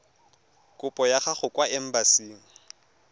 kopo ya gago kwa embasing